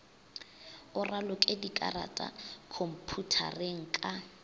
o raloke dikarata khomphutareng ka